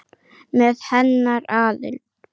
Með hennar aðild.